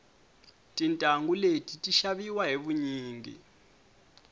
tintangu leti ti xaviwa hi vunyingi